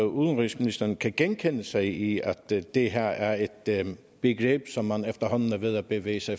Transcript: udenrigsministeren kan genkende sig i at det her er er et begreb som man efterhånden er ved at bevæge sig